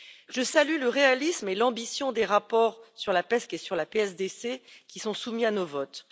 Je salue le réalisme et l'ambition des rapports sur la PESC et sur la PSDC, qui sont soumis à nos votes.